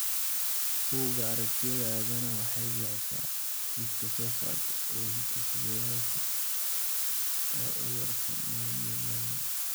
Bugga Aragtiyaha Aadanaha waxay bixisaa liiska soo socda ee astaamaha iyo calaamadaha cudurka myopathy Bethlem.